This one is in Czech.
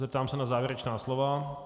Zeptám se na závěrečná slova.